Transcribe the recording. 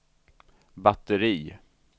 batteri